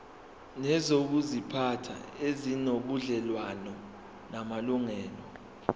nezokuziphatha ezinobudlelwano namalungelo